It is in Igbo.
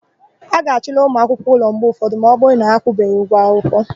A ga-achụla ụmụakwụkwọ ụlọ mgbe ụfọdụ ma ọbụrụ na ha akwụbeghi ụgwọ akwụkwọ.